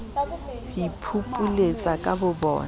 ho iphupuletsa ka bobona e